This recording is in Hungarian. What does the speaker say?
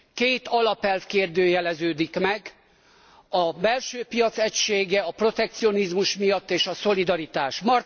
Két alapelv kérdőjeleződik meg a belső piac egysége a protekcionizmus miatt és a szolidaritás.